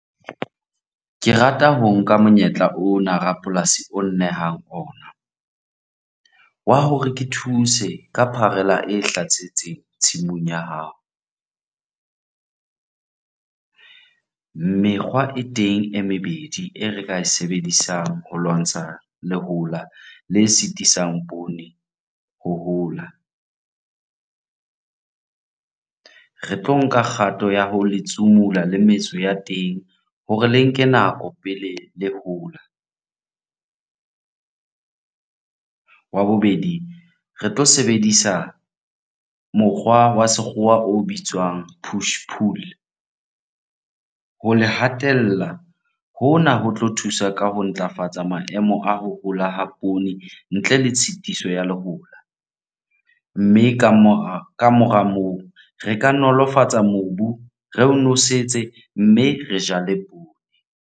Ke rata ho nka monyetla ona rapolasi o nnehang ona wa hore ke thuse ka pharela e hlasetseng tshimong ya hao. Mekgwa e teng e mebedi e re ka e sebedisang ho lwantsha lehola le sitisang poone ho hola. Re tlo nka kgato ya ho letsumula le metso ya teng hore le nke nako pele le hola. Wa bobedi, re tlo sebedisa mokgwa wa sekgowa o bitswang push pool ho le hatella. Hona ho tlo thusa ka ho ntlafatsa maemo a ho hola ha poone ntle le tshitiso ya lehola, mme kamora moo re ka nolofatsa mobu, re o nosetse mme re jale poone.